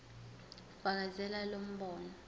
fakazela lo mbono